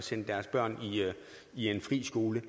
at sende deres børn i en fri skole